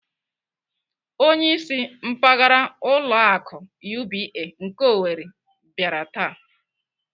Onyeisi mpaghara ụlọ akụ UBA nke Owerri bịara taa.